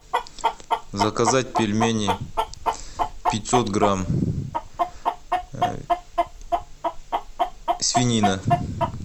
заказать пельмени пятьсот грамм свинина